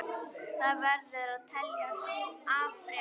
Það verður að teljast afrek.